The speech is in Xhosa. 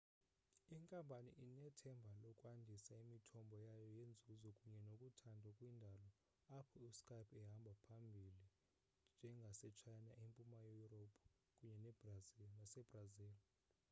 inkampani inethemba lokwandisa imithombo yayo yenzuzo kunye nokuthandwa kwiindawo apho uskype ehamba phambili njengasechina empuma yurophu kunye nasebrazil